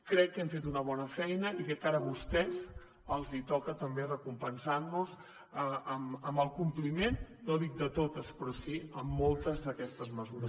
crec que hem fet una bona feina i crec que ara a vostès els toca també recompensar nos amb el compliment no dic de totes però sí de moltes d’aquestes mesures